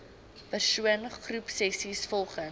persoon groepsessies volgens